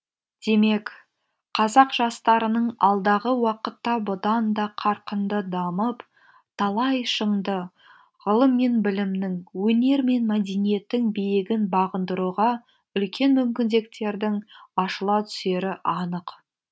демек қазақ жастарының алдағы уақытта бұдан да қарқынды дамып талай шыңды ғылым мен білімнің өнер мен мәдениеттің биігін бағындыруға үлкен мүмкіндіктердің ашыла түсері анық